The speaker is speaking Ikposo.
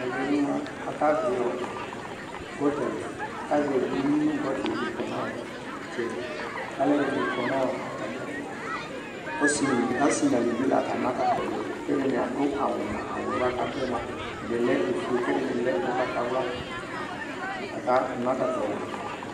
Ɛʋɛmʊa aƙazɛʋɩ ʊƴʊɩ nʊ gotalɩ ƙɔnʊ ɩtsɛɗɩ alʊɛɗɩnɩ aƙɔnʊ atmɩ ɛtʊ asɩ ɗʊnʊ elʊʋɩla aƙana ɔlʊnaƴɛ awʊƴɛ atnɩ aɗʊƴɛ, ofʊe, ʊgɓatawlʊa la aƙanʊ ɔlʊnaƴɛ